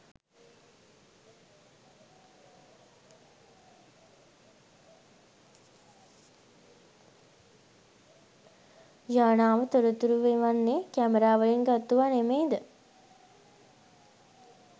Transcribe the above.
යානාව තොරතුරු එවන්නෙ කැමරාවලින් ගත්තුවා නෙමෙයිද?